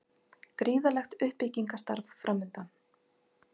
Gríðarlegt uppbyggingarstarf framundan